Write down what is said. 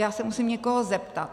Já se musím někoho zeptat.